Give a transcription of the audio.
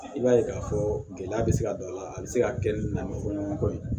I b'a ye k'a fɔ gɛlɛya bɛ se ka don a la a bɛ se ka kɛ ni nɛmɛ fɔɲɔgɔnkɔ ye